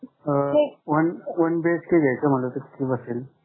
अं one BHK घ्यायचं म्हटलं तर किती बसेल?